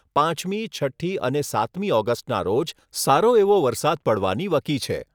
રહી હોવાથી પાંચમી, છઠ્ઠી અને સાતમી ઓગસ્ટના રોજ સારો એવો વરસાદ પડવાની વકી છે.